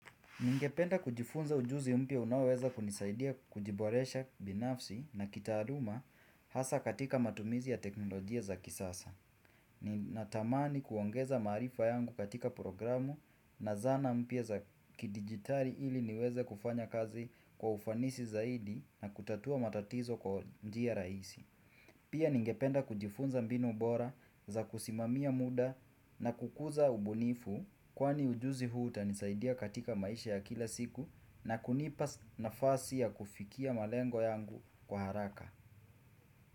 Ningependa kujifunza ujuzi mpya unaweza kunisaidia kujiboresha binafsi na kitaaluma hasa katika matumizi ya teknolojia za kisasa. Ni natamani kuongeza marifa yangu katika programu na zana mpya za kidigitali ili niweze kufanya kazi kwa ufanisi zaidi na kutatua matatizo kwa njia rahisi. Pia ningependa kujifunza mbinu ubora za kusimamia muda na kukuza ubunifu kwani ujuzi huu utanisaidia katika maisha ya kila siku na kunipa nafasi ya kufikia malengo yangu kwa haraka.